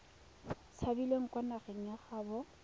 tshabileng kwa nageng ya gaabo